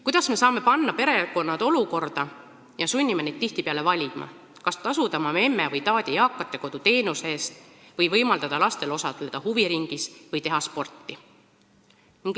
Kuidas me saame panna perekonnad sellisesse olukorda, kus me sunnime neid tihtipeale valima, kas tasuda oma memme või taadi eakate kodu teenuse eest, võimaldada lastel osaleda huviringis või teha sporti?